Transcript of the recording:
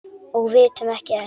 Og vitum ekki enn.